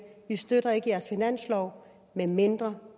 vi støtter ikke jeres finanslov medmindre